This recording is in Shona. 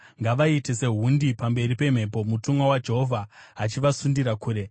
Ngavaite sehundi pamberi pemhepo, mutumwa waJehovha achivasundira kure;